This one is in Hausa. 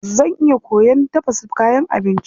Zan iya koyon tafasa kayan abinci.